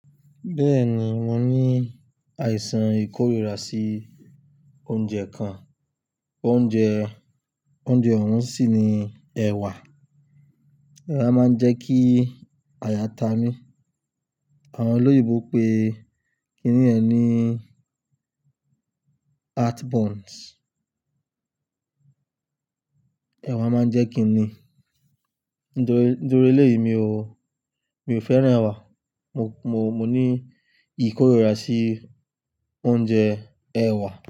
Bẹ́ẹ̀ni, mo ní àìsàn ìkóríra sí oúnjẹ kan. Oúnjẹ, oúnjẹ ọ̀hún sì ni ẹ̀wà. Ẹ̀wà máa ń jẹ́ kí àyà ta mí. Àwọn olóyìnbó pé kíní yẹn ní heartburn. Ẹ̀wà máa ń jẹ́ kí ni nítorí, nítorí eléyìí mi ò, mi ò fẹ́ràn ẹ̀wà. Mo, mo, mo ní ìkóríra sí oúnjẹ ẹ̀wà.